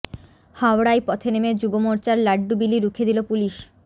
হাওড়ায় পথে নেমে যুবমোর্চার লাড্ডু বিলি রুখে দিল পুলিশ